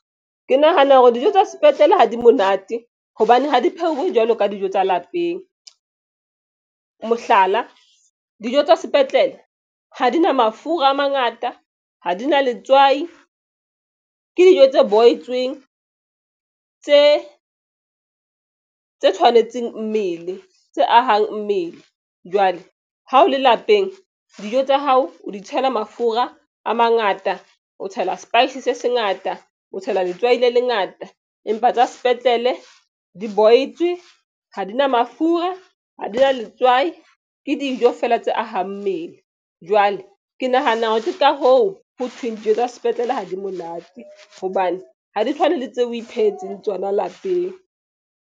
Ke nahana hore dijo tsa sepetlele ha di monate hobane ha di pheuwe jwalo ka dijo tsa lapeng. Mohlala, dijo tsa sepetlele ha di na mafura a mangata ha di na letswai ke dijo tse boitsweng tse tshwanetseng mmele tse ahang mmele. Jwale ha o le lapeng dijo tsa hao o di tshela mafura a mangata o tshela spice se se ngata o tshela letswai le lengata empa tsa sepetlele di boitswe ha di na mafura ha di na letswai. Ke dijo fela tse ahang mmele jwale ke nahana hore ke ka hoo ho thweng dijo tsa sepetlele ha di monate hobane ha di tshwane le tseo o ipehetseng tsona lapeng.